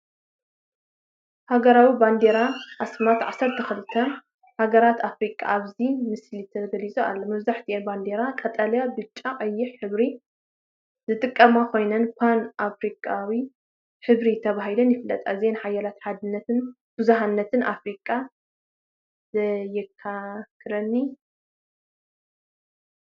ሃገራዊ ባንዴራን ኣስማትን ዓሰርተው ክልተ (12) ሃገራት ኣፍሪቃ ኣብዚ ምስሊ ተገሊፁ ኣሎ። መብዛሕትአን ባንዴራታት ቀጠልያ፣ ብጫን ቀይሕን ሕብሪ ዝጥቀማ ኮይነን ፓን-ኣፍሪቃዊ ሕብሪ ተባሂለን ይፍለጣ። እዚ ሓያል ሓድነትን ብዙሕነትን ኣፍሪቃ የዘኻኽረኒ።